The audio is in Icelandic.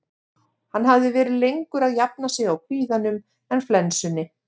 Hann hafði verið lengur að jafna sig á kvíðanum en flensunni.